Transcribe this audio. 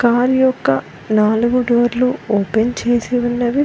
Car యొక్క నాలుగు డోర్లు ఓపెన్ చేసి ఉన్నవి.